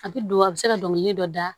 A bɛ don a bɛ se ka dɔngili dɔ da